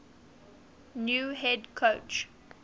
new head coach